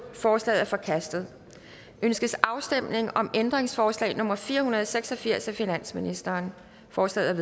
forslaget er forkastet ønskes afstemning om ændringsforslag nummer fire hundrede og seks og firs af finansministeren forslaget